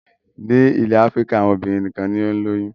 Nílẹ̀ Áfíríkà àwọn obìnrin nìkan ni ó ń lóyún.